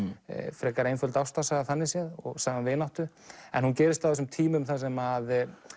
frekar einföld ástarsaga þannig séð og saga um vináttu en hún gerist á þessum tímum þar sem